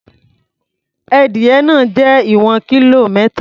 Edìyẹ náà jẹ́ ìwọ̀n kílò mẹ́ta.